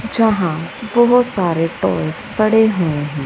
जहां बहोत सारे टॉयज पड़े हुए हैं।